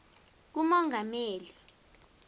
kumongameli